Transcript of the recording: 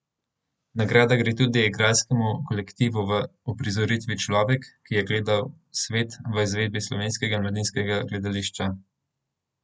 Nagrada gre tudi igralskemu kolektivu v uprizoritvi Človek, ki je gledal svet v izvedbi Slovenskega mladinskega gledališča.